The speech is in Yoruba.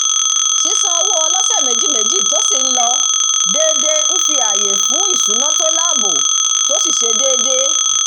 sísan owó ọlọ́sẹ̀-méjìméjì tó sì ń lọ déédé ń fi ààyè sìlẹ̀ fún íṣúná tó láàbò tó sì ṣe déédé